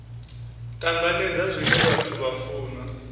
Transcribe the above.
tanganedza zwine vhathu vha funa